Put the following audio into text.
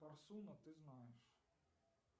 парсуна ты знаешь